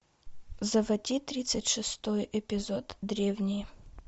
заводи тридцать шестой эпизод древние